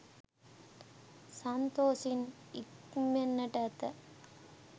සන්තොසින් නික්මෙන්නට ඇත.